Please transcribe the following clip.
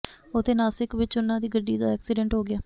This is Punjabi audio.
ਉੱਥੇ ਨਾਸਿਕ ਵਿੱਚ ਉਨ੍ਹਾਂ ਦੀ ਗੱਡੀ ਦਾ ਐਕਸੀਡੈਂਟ ਹੋ ਗਿਆ